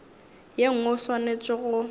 ye nngwe o swanetše go